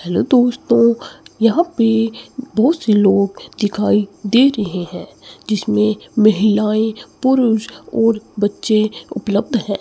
Hello दोस्तों यहां पे बहुत से लोग दिखाई दे रहे है जिसमें महिलाएं पुरुष और बच्चे उपलब्ध है।